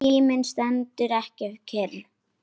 Tíminn stendur ekki kyrr.